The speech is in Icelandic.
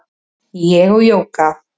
Ég og Jóga